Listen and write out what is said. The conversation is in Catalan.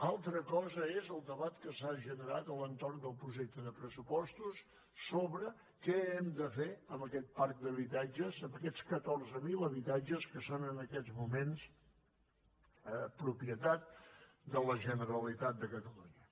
altra cosa és el debat que s’ha generat a l’entorn del projecte de pressupostos sobre què hem de fer amb aquest parc d’habitatges amb aquests catorze mil habitatges que són en aquests moments propietat de la generalitat de catalunya